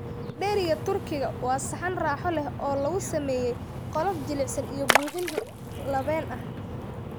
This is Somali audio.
Dheriga Turkiga waa saxan raaxo leh oo lagu sameeyay qolof jilicsan iyo buuxin labeen leh.